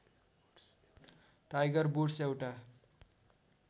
tiger Woods एउटा